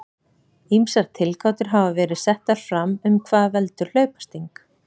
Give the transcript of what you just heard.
Ýmsar tilgátur hafa verið settar fram um hvað veldur hlaupasting.